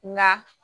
Nka